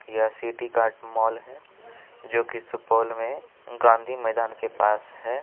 यह city cart mall है जो की सुपौल में गाँधी मैदान के पास है।